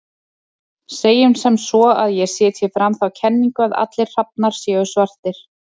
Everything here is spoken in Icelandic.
Segjum sem svo að ég setji fram þá kenningu að allir hrafnar séu svartir.